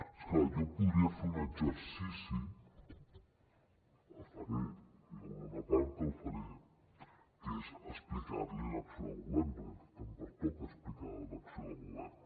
és clar jo podria fer un exercici el faré hi haurà una part que la faré que és explicar li l’acció de govern perquè em pertoca explicar l’acció de govern